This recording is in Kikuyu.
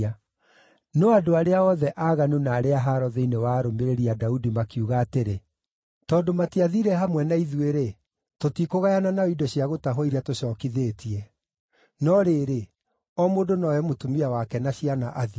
No andũ arĩa othe aaganu na arĩa a haaro thĩinĩ wa arũmĩrĩri a Daudi makiuga atĩrĩ, “Tondũ matiathiire hamwe na ithuĩ-rĩ, tũtikũgayana nao indo cia gũtahwo iria tũcookithĩtie. No rĩrĩ, o mũndũ no oe mũtumia wake na ciana athiĩ.”